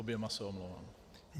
Oběma se omlouvám.